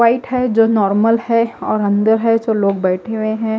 White है जो normal है और अंदर है जो लोग बेठे हुए है।